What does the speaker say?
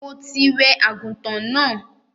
Mo ti wẹ àgùntàn náà.